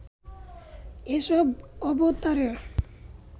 এসব অবতারের